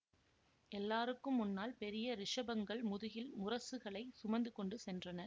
எல்லாருக்கும் முன்னால் பெரிய ரிஷபங்கள் முதுகில் முரசுகளைச் சுமந்து கொண்டு சென்றன